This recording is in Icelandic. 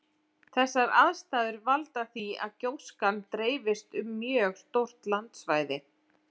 Þessar aðstæður valda því að gjóskan dreifist um mjög stórt landsvæði.